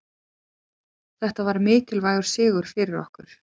Þetta var mikilvægur sigur fyrir okkur